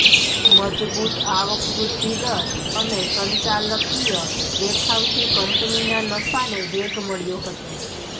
મજબૂત આવકવૃદ્ધિદર અને સંચાલકીય દેખાવથી કંપનીના નફાને વેગ મળ્યો હતો